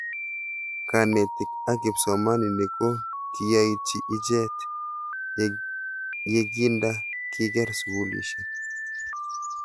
Kanetik ak kipsomanik ko kiyaitchi ichet ye kinda kiker sukulishek